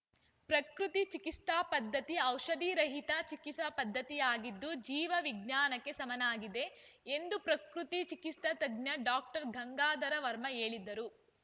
ಪ್ರಕೃತಿ ಚಿಕಿತ್ಸಾ ಪದ್ಧತಿ ಔಷಧಿ ರಹಿತ ಚಿಕಿತ್ಸಾ ಪದ್ಧತಿಯಾಗಿದ್ದು ಜೀವ ವಿಜ್ಞಾನಕ್ಕೆ ಸಮನಾಗಿದೆ ಎಂದು ಪ್ರಕೃತಿ ಚಿಕಿತ್ಸಾ ತಜ್ಞ ಡಾಕ್ಟರ್ ಗಂಗಾಧರ ವರ್ಮ ಹೇಳಿದರು